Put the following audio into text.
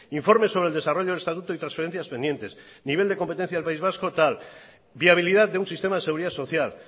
informes sobre el desarrollo del estatuto y transferencias pendientes nivel de competencias del país vasco tal viabilidad de un sistema de seguridad social